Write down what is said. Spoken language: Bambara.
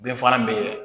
Bɛn fara bɛ